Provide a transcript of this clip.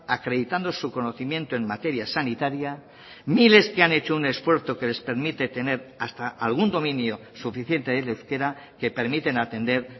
acreditando su conocimiento en materia sanitaria miles que han hecho un esfuerzo que les permite tener hasta algún dominio suficiente del euskera que permiten atender